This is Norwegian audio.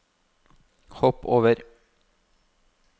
hopp over